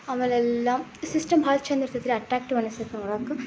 ಆಮೇಲ್ ಎಲ್ಲ ಸಿಸ್ಟಮ್ ಬಹಳ ಚಂದ ಇರತೈತ್ರಿ ಅಟ್ರಾಕ್ಟಿವ್ ಅನ್ನಿಸತೈತಿ ನೋಡಾಕ.